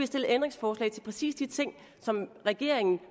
stillet ændringsforslag til præcis de ting som regeringen